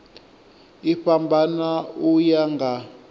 i fhambana u ya nga